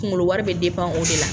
Kunkolo wari bɛ o de la.